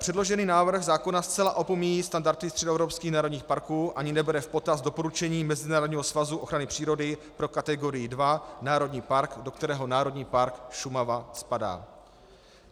Předložený návrh zákona zcela opomíjí standardy středoevropských národních parků ani nebere v potaz doporučení Mezinárodního svazu ochrany přírody pro kategorii II - národní park, do kterého Národní park Šumava spadá.